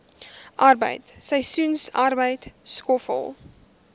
arbeid seisoensarbeid skoffel